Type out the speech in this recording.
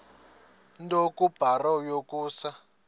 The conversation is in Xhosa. nto kubarrow yokusa